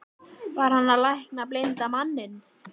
Var hann að lækna blinda manninn?